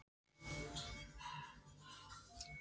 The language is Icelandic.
Hún tekur undir það og þau kveðjast.